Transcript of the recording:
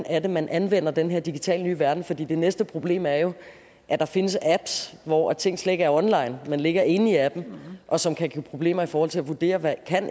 er man anvender den her digitale nye verden for det næste problem er jo at der findes apps hvor ting slet ikke er online men ligger inde i appen og som kan give problemer i forhold til at vurdere hvad